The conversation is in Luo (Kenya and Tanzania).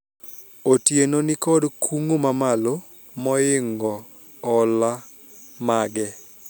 Otieno nikod kungo mamalo moingo hola mage